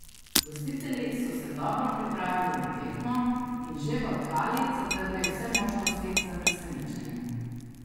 Gostitelji so se dobro pripravili na tekmo in že v kali zatrli vse možnosti za presenečenje.